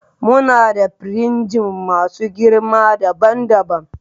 Muna da firinji masu girma daban daban